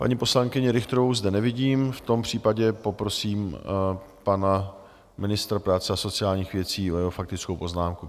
Paní poslankyni Richterovou zde nevidím, v tom případě poprosím pana ministr práce a sociálních věcí o jeho faktickou poznámku.